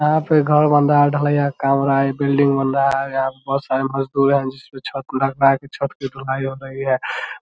यहाँ पे घर बन रहा है ढलैया कर रहा है बिल्डिंग बन रहा है और यहाँ पे बहुत सारे मजदूर हैं जिसमें छत लग रहा है कि छत की ढलाई हो रही है ।